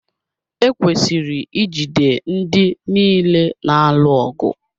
Ekwesịrị ijide ndị niile na-alụ ọgụ.